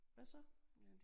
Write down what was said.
Hvad så